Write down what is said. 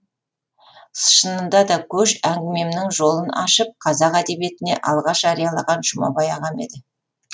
шынында да көш әңгімемнің жолын ашып қазақ әдебиетіне алғаш жариялаған жұмабай ағам еді